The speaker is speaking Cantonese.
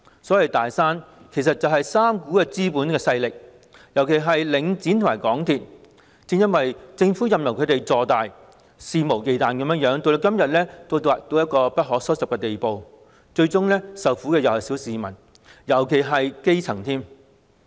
所謂"大山"，其實是3股資本勢力，尤其是領展和港鐵公司，正因為政府任由它們坐大和肆無忌憚，才會演變成今天不可收拾的地步，最終受苦的是小市民，尤其是基層市民。